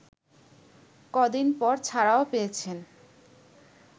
কদিন পর ছাড়াও পেয়েছেন